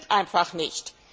Das stimmt einfach nicht.